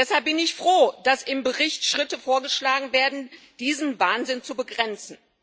Deshalb bin ich froh, dass im Bericht Schritte vorgeschlagen werden, diesen Wahnsinn zu begrenzen.